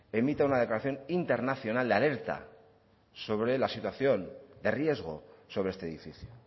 emita una declaración internacional de alerta sobre la situación de riesgo sobre este edificio